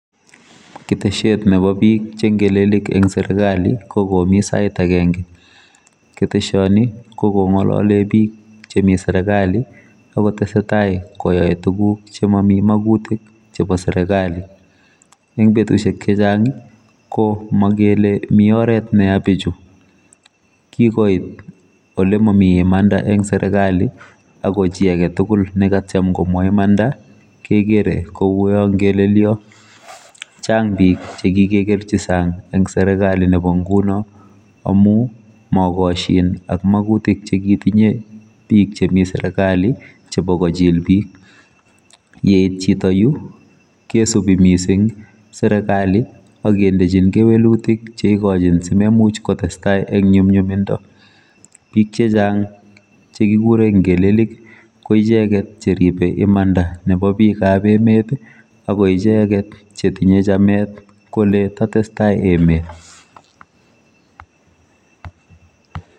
Ketesiet chebo biik che ngelelik eng serikali ko komi sait agenge ketesioni kokongolole bik chemi serikali akotesetai koae tiguk chemami magutik chebo serekali. Eng betusiek chechang ko mokele mi oret neya bichu kikoit ole mami imanda eng serikali ako chi agetugul nekatyem komwai imanda kekere kouiyo ngelelio cheng bik chekikekerchi sang eng serekali nebo nguno amu maakosyin ak magutik chekitinye bik chemi serekali chebo kochil bik yeit chito yu kesubi mising serekali akendejin kewelutik cheikojin simemuch kotestai eng nyumnyumindo bik chechang chekikure ngelelik koicheket cheribe imanda nebo bikab emet akoicheket chetinye chamet kole tatestai emet.